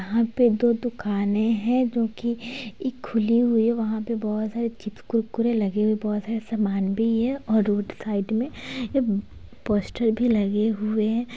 यहाँ पे दो दुकाने हैं जो कि एक खुली हुई है वहां पे बहुत सारे चिप्स कुरकुरे लगे हुए हैं। बहुत सारे सामान भी है और रोड साइड में पोस्टर भी लगे हुए हैं।